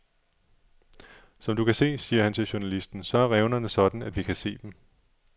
Som du kan se, siger han til journalisten, så er revnerne sådan, at vi kan se dem.